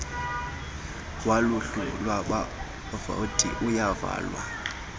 woluhlu lwabavoti uyavalwa